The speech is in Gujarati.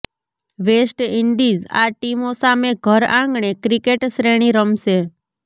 વેસ્ટ ઈન્ડીઝ આ ટીમો સામે ઘર આંગણે ક્રિકેટ શ્રેણી રમશે